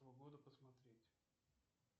погода посмотреть